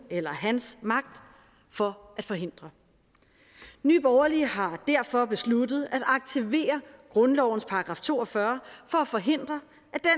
eller hendes magt for at forhindre nye borgerlige har derfor besluttet at aktivere grundlovens § to og fyrre for at forhindre